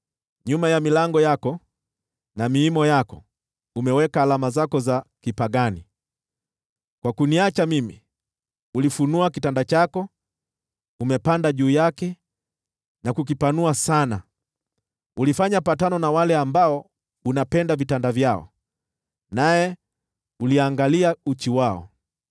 Nyuma ya milango yako na miimo yako umeweka alama zako za kipagani. Kwa kuniacha mimi, ulifunua kitanda chako, umepanda juu yake na kukipanua sana; ulifanya patano na wale ambao unapenda vitanda vyao, nawe uliangalia uchi wao.